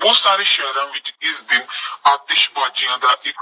ਬਹੁਤ ਸਾਰੇ ਸ਼ਹਿਰਾਂ ਵਿੱਚ ਇਸ ਦਿਨ ਆਤਿਸ਼ਬਾਜ਼ੀਆਂ ਦਾ ਇੱਕ